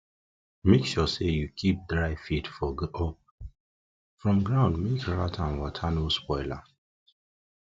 make sure say you keep dry feed for up from grand make rat and wata no spoil am